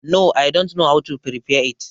No i dont know how to prepare it.